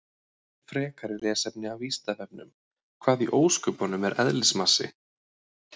Frekara lesefni af Vísindavefnum: Hvað í ósköpunum er eðlismassi?